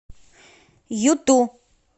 юту